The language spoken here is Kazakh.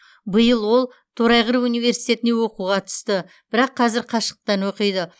биыл ол торайғыров университетіне оқуға түсті бірақ қазір қашықтан оқиды